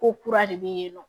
Ko kura de bɛ yen nɔ